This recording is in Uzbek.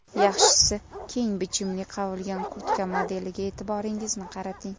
Yaxshisi keng bichimli qavilgan kurtka modeliga e’tiboringizni qarating.